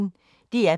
DR P1